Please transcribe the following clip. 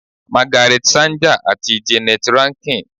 Magaret Sanger ati Jeannette Rankin